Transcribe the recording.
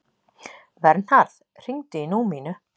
Vernharð, hringdu í Númínu.